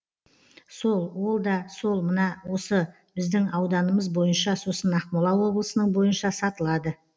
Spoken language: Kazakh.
сол ол да сол мына осы біздің ауданымыз бойынша сосын ақмола облысының бойынша сатылады